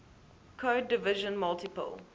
code division multiple